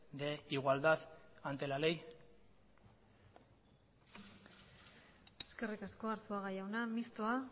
de igualdad ante la ley eskerrik asko arzuaga jauna mistoa